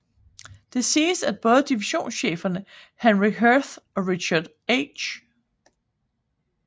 Det siges at både divisionscheferne Henry Heth og Richard H